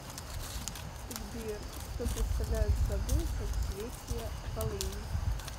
сбер что представляют собой соцветия полыни